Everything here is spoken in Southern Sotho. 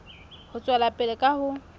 ho tswela pele ka ho